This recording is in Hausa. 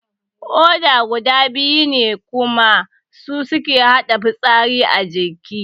Koda guda biyu ne kuma su suke haɗa fitsari a jiki